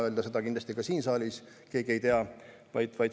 Seda ei tea kindlasti ka siin saalis keegi.